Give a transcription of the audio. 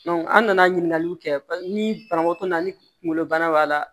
an nana ɲininkaliw kɛ ni banabaatɔ na ni kungolo bana b'a la